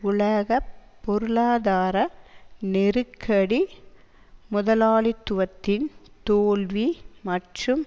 உலக பொருளாதார நெருக்கடி முதலாளித்துவத்தின் தோல்வி மற்றும்